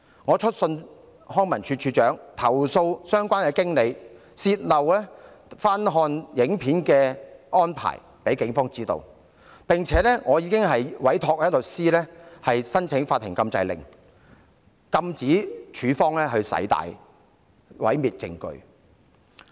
我已致函康文署署長，投訴相關經理向警方泄露有關翻看錄影片段的安排，並委託律師申請法庭禁制令，禁止署方刪除有關片段以毀滅證據。